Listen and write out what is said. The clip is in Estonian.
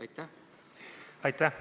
Aitäh!